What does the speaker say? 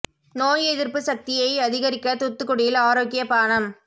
நோய் எதிர்ப்பு சக்தியை அதிகரிக்க தூத்துக்குடியில் ஆரோக்கியப் பானம்